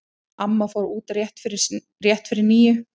Amma fór út rétt fyrir níu.